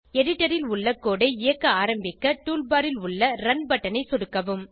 editor ல் உள்ள code ஐ இயக்க ஆரம்பிக்க டூல்பார் ல் உள்ள ரன் பட்டன் ஐ சொடுக்கவும்